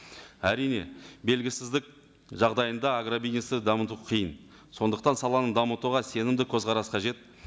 әрине белгісіздік жағдайында агробизнесті дамыту қиын сондықтан саланы дамытуға сенімді көзқарас қажет